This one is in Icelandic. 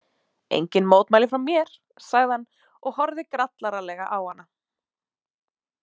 Engin mótmæli frá mér, sagði hann og horfði grallaralega á hana.